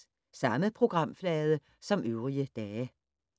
Samme programflade som øvrige dage